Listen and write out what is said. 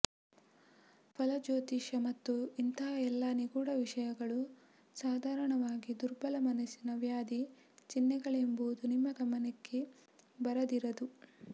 ಫಲಜ್ಯೋತಿಷ ಮತ್ತು ಇಂಥ ಎಲ್ಲ ನಿಗೂಢ ವಿಷಯಗಳು ಸಾಧಾರಣವಾಗಿ ದುರ್ಬಲ ಮನಸ್ಸಿನ ವ್ಯಾಧಿ ಚಿಹ್ನೆಗಳೆಂಬುದು ನಿಮ್ಮ ಗಮನಕ್ಕೆ ಬರದಿರದು